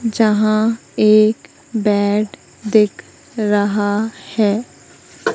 जहां एक बेड दिख रहा है।